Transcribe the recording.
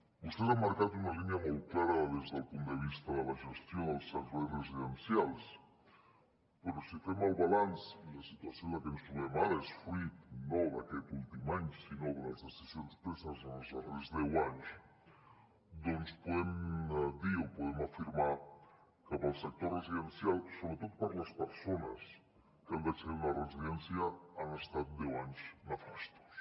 vostès han marcat una línia molt clara des del punt de vista de la gestió dels ser·veis residencials però si fem el balanç i la situació en la que ens trobem ara és fruit no d’aquest últim any sinó de les decisions preses en els darrers deu anys doncs podem dir o podem afirmar que per al sector residencial sobretot per a les persones que han d’accedir a una residència han estat deu anys nefastos